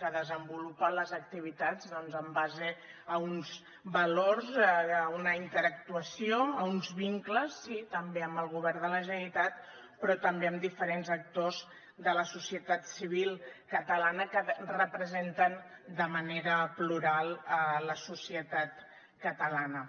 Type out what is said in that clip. que desenvolupa les activitats doncs en base a uns valors a una interactuació a uns vincles sí també amb el govern de la generalitat però també amb diferents actors de la societat civil catalana que representen de manera plural la societat catalana